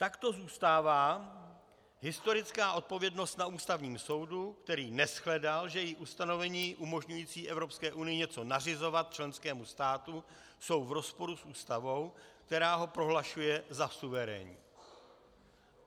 Takto zůstává historická odpovědnost na Ústavním soudu, který neshledal, že její ustanovení umožňující Evropské unii něco nařizovat členskému státu jsou v rozporu s Ústavou, která ho prohlašuje za suverénní.